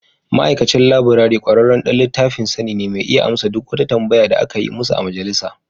Ma'aikacin laburare ƙwararren ɗan littafin sani ne mai iya amsa duk wata tambaya da aka yi musu a Majalisa.